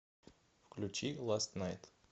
включи ласт найт